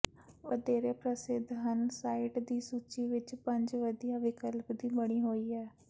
ਵਧੇਰੇ ਪ੍ਰਸਿੱਧ ਹਨ ਸਾਈਟ ਦੀ ਸੂਚੀ ਵਿੱਚ ਪੰਜ ਵਧੀਆ ਵਿਕਲਪ ਦੀ ਬਣੀ ਹੋਈ ਹੈ